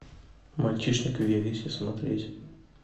мальчишник в вегасе смотреть